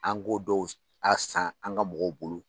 An k'o dɔw a san an ka mɔgɔw bolo.